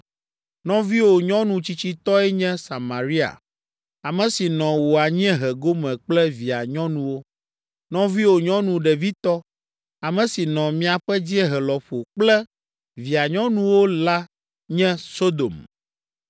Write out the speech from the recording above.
Nɔviwò nyɔnu tsitsitɔe nye Samaria, ame si nɔ wò anyiehe gome kple via nyɔnuwo. Nɔviwò nyɔnu ɖevitɔ, ame si nɔ miaƒe dziehe lɔƒo kple via nyɔnuwo la nye Sodom.